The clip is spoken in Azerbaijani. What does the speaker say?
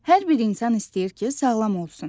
Hər bir insan istəyir ki, sağlam olsun.